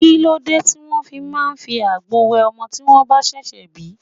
Kí ló dé tí wọ́n fi máa ń fi àgbo wẹ ọmọ tí wọ́n bá ṣẹ̀ṣẹ̀ bi?